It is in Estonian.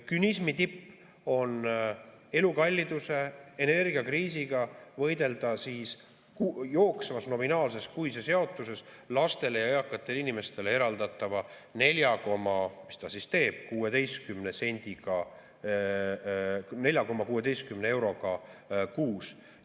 Künismi tipp on elukalliduse, energiakriisiga võidelda jooksvas nominaalses kuises jaotuses lastele ja eakatele inimestele eraldatava nelja euro ja, mis ta siis teeb, 16 sendiga ehk 4,16 euroga kuus.